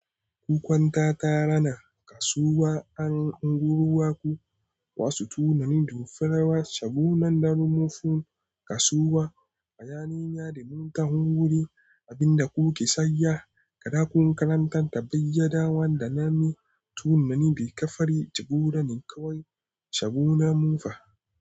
Kukwanta ta rana kasuwa an unguwar ku wasu tunanin to farawa shagonan da rumufun kasuwa. A yanayin yadin ta wurin abinda kuke sayya, kaɗa kun karanta ta bayyanawa da na mi tunani da ka fari jagora ne kawai shago na Mufa.